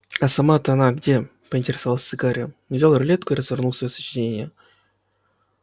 а сама-то она где поинтересовался гарри взял рулетку и развернул своё сочинение